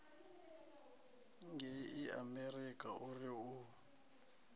ngei amerika o ri u